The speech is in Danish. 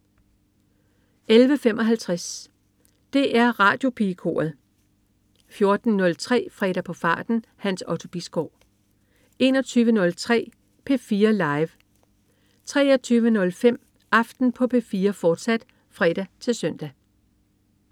11.55 DR Radiopigekoret 14.03 Fredag på farten. Hans Otto Bisgaard 21.03 P4 Live 23.05 Aften på P4, fortsat (fre-søn)